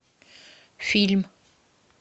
фильм